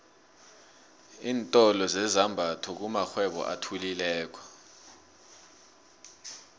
iintolo zezambatho kumakghwebo athuthukileko